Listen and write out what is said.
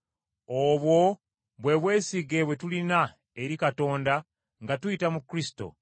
Obwo bwe bwesige bwe tulina eri Katonda nga tuyita mu Kristo.